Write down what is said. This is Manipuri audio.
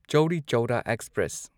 ꯆꯧꯔꯤ ꯆꯧꯔꯥ ꯑꯦꯛꯁꯄ꯭ꯔꯦꯁ